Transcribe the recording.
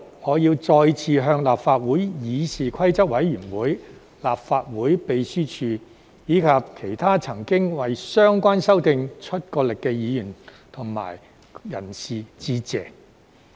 我要在此再向立法會議事規則委員會、立法會秘書處，以及其他曾經為相關修訂出過力的議員及人士致謝。